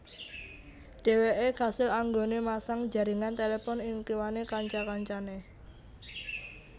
Dheweke kasil anggone masang jaringan telepon ing kiwane kanca kancane